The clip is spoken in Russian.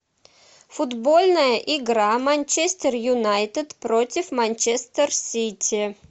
футбольная игра манчестер юнайтед против манчестер сити